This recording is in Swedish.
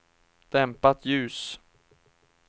dämpat ljus